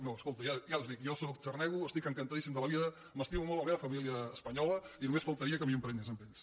no escolta ja els ho dic jo sóc xarnego estic encantadíssim de la vida m’estimo molt la meva família espanyola i només faltaria que m’hi emprenyés amb ells